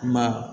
Ma